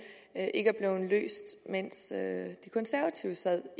ikke er blevet løst mens de konservative sad